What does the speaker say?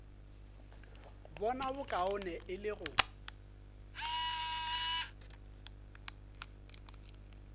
bona bokaone e le go